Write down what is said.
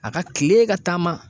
A ga kilee ka taama